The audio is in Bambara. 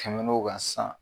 Tɛmɛn'o ka san